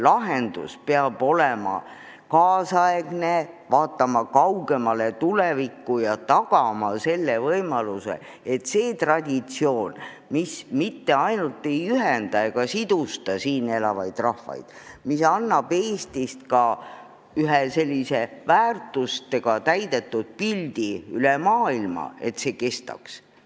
Lahendus peab olema kaasaegne, vaatama kaugemale tulevikku ja tagama, et see traditsioon, mis mitte ainult ei ühenda siin elavaid rahvaid, vaid annab Eestist selliste väärtustega täidetud pildi kogu maailmale, kestaks.